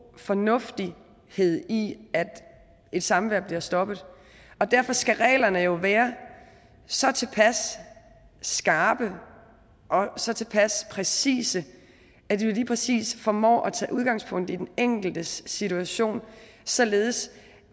fornuft i at et samvær bliver stoppet derfor skal reglerne jo være så tilpas skarpe og så tilpas præcise at man lige præcis formår at tage udgangspunkt i den enkeltes situation således